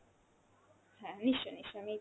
হ্যাঁ, নিশ্চয় নিশ্চয়, আমি